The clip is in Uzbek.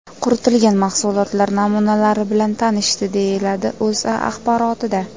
Quritilgan mahsulotlar namunalari bilan tanishdi”, deyiladi O‘zA axborotida.